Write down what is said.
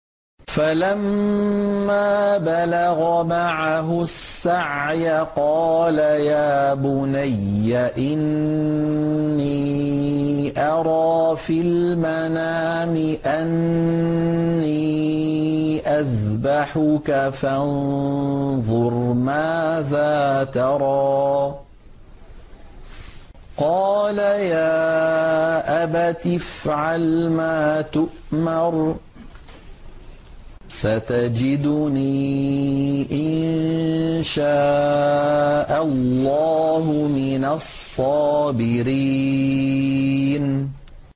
فَلَمَّا بَلَغَ مَعَهُ السَّعْيَ قَالَ يَا بُنَيَّ إِنِّي أَرَىٰ فِي الْمَنَامِ أَنِّي أَذْبَحُكَ فَانظُرْ مَاذَا تَرَىٰ ۚ قَالَ يَا أَبَتِ افْعَلْ مَا تُؤْمَرُ ۖ سَتَجِدُنِي إِن شَاءَ اللَّهُ مِنَ الصَّابِرِينَ